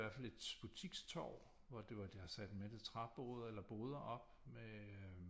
I hvert fald et butikstorv hvor det var deres er det træboder eller boder op med øh